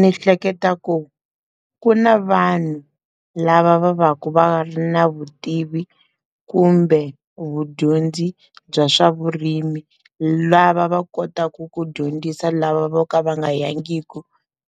Ni hleketa ku ku na vanhu lava va va ka va ri na vutivi kumbe vudyondzi bya swa vurimi lava va kotaka ku dyondzisa lava vo ka va nga yangiki